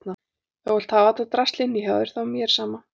Ef þú vilt hafa þetta drasl inni hjá þér þá er mér sama.